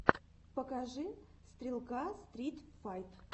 покажи стрелка стрит файт